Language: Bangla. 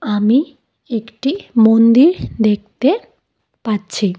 আমি একটি মন্দির দেখতে পাচ্ছি।